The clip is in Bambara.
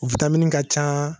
U vitamini ka ca